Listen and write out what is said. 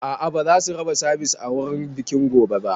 A'a ba zasu raba Sivice a wurin bikin gobe ba